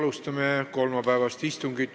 Alustame kolmapäevast istungit.